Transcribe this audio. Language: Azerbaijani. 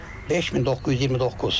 5929.